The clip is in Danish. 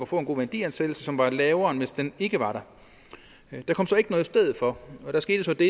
få en god værdiansættelse som var lavere end hvis den ikke var der der kom så ikke noget i stedet for og der skete det